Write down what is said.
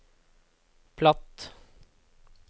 platt